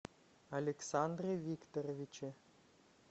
александре викторовиче